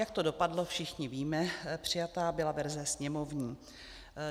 Jak to dopadlo, všichni víme, přijata byla verze sněmovní.